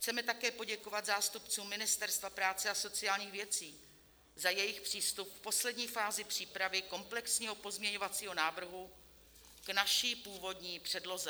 Chceme také poděkovat zástupcům Ministerstva práce a sociálních věcí za jejich přístup v poslední fázi přípravy komplexního pozměňovacího návrhu k naší původní předloze.